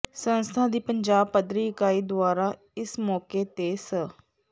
ਸੰਸਥਾ ਦੀ ਪੰਜਾਬ ਪੱਧਰੀ ਇਕਾਈ ਦੁਆਰਾ ਇਸ ਮੋਕੇ ਤੇ ਸ